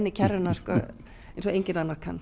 í kerruna eins og enginn annar kann